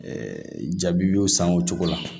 jabi y'o san o cogo la